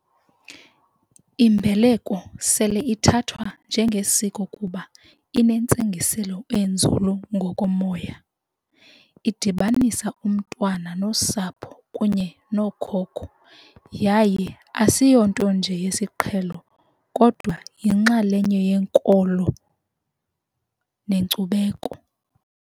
Imbeleko sele ithathwa njengesiko kuba inentsingiselo enzulu ngokomoya. Idibanisa umntwana nosapho kunye nookhokho yaye asiyonto nje yesiqhelo kodwa yinxalenye yenkolo nenkcubeko.